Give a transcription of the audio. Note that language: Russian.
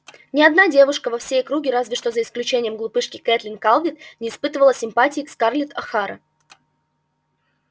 ни одна девушка во всей округе разве что за исключением глупышки кэтлин калверт не испытывала симпатии к скарлетт охара